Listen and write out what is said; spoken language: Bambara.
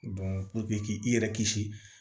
k'i yɛrɛ kisi